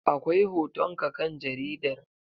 Akwai hoton ka kan jaridar.